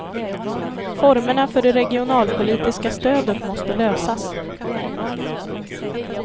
Formerna för det regionalpolitiska stödet måste lösas.